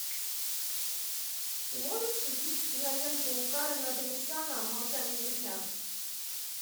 ты можешь включить киноленту карена оганесяна молчание ягнят